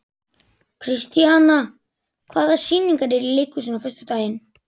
Kristíanna, hvaða sýningar eru í leikhúsinu á föstudaginn?